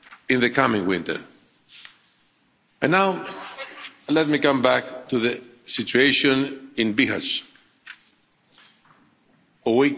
in the coming winter. And now let me come back to the situation in Bihać.